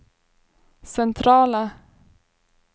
centrala